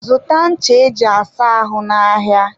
zụta ncha e ji asa ahụ n'ahịa.